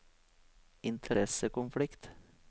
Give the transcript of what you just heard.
interessekonflikt